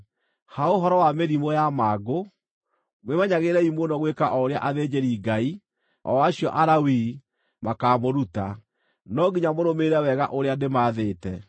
Ha ũhoro wa mĩrimũ ya mangũ, mwĩmenyagĩrĩrei mũno gwĩka o ũrĩa athĩnjĩri-Ngai, o acio Alawii, makaamũruta. No nginya mũrũmĩrĩre wega ũrĩa ndĩmathĩte.